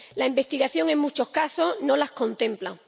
La investigación, en muchos casos, no las contempla.